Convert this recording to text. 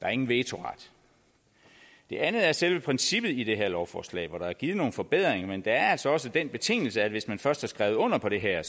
er ingen vetoret det andet er selve princippet i det her lovforslag hvor der er givet nogle forbedringer men der er altså også den betingelse at hvis man først har skrevet under på det her